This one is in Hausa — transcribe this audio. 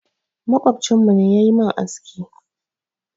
Maƙwabcinmu ne ya yi min aski.